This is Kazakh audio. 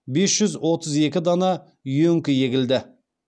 бес жүз отыз екі дана үйеңкі егілді